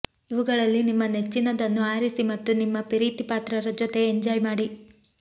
ಇವುಗಳಲ್ಲಿ ನಿಮ್ಮ ನೆಚ್ಚಿನದನ್ನು ಆರಿಸಿ ಮತ್ತು ನಿಮ್ಮ ಪ್ರೀತಿಪಾತ್ರರ ಜೊತೆ ಎಂಜಾಯ್ ಮಾಡಿ